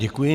Děkuji.